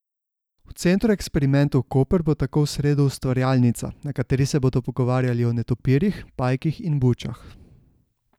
V Centru eksperimentov Koper bo tako v sredo ustvarjalnica, na kateri se bodo pogovarjali o netopirjih, pajkih in bučah.